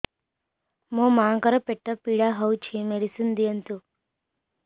ମୋ ମାଆଙ୍କର ପେଟ ପୀଡା ହଉଛି ମେଡିସିନ ଦିଅନ୍ତୁ